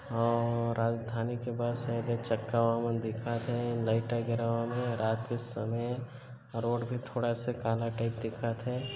अउ राजधानी के बस हे एदे चक्का उ मन दिखत हे लाइट है रात का समय है रोड भी थोड़ा सा काला टाइप दिखत हे।